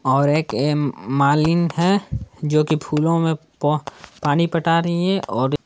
और एक ए मालीन है जो कि फूलों में प पानी पटा रही है और--